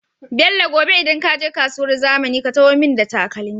Bello gobe idan kaje kasuwar zamani ka taho mun da takalmi